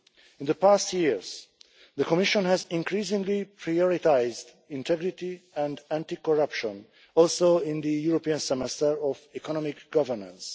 In the past years the Commission has increasingly prioritised integrity and anti-corruption, also in the European Semester of economic governance.